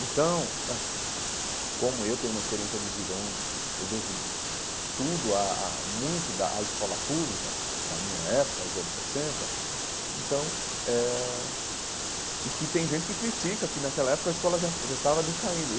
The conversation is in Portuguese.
Então, acho que, co como eu tenho uma experiência de vida onde eu devo tudo a a muito da à escola pública da minha época, aos anos sessenta, então eh e que tem gente que critica, porque naquela época a escola já estava decaindo.